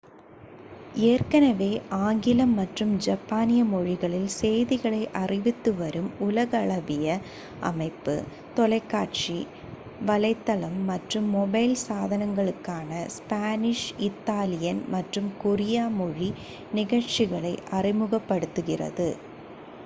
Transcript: ஏற்கனவே ஆங்கிலம் மற்றும் ஜப்பானிய மொழிகளில் செய்திகளை அறிவித்துவரும் உலகளாவிய அமைப்பு தொலைக்காட்சி வலைத்தளம் மற்றும் மொபைல் சாதனங்களுக்கான ஸ்பானிஷ் இத்தாலியன் மற்றும் கொரிய மொழி நிகழ்ச்சிகளை அறிமுகப்படுத்துகிறது